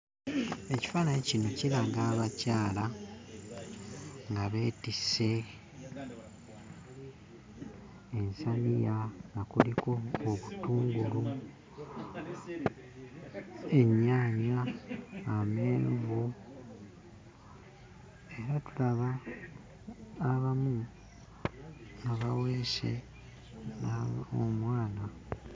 Ekifaananyi kino kiraga abakyala nga beetisse ensaniya nga kuliko obutungulu, ennyaanya amenvu. Era tulaba abamu abaweese omwana.